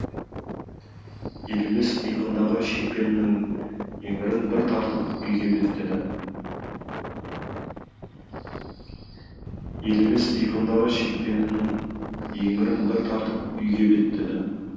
елемес иығындағы шекпенінің еңірін бір тартып үйге беттеді елемес иығындағы шекпенінің еңірін бір тартып үйге беттеді